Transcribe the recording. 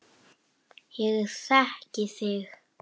Þetta kemur þér á óvart.